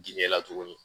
Diinɛ la tuguni